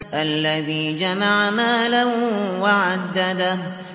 الَّذِي جَمَعَ مَالًا وَعَدَّدَهُ